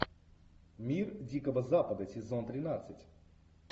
мир дикого запада сезон тринадцать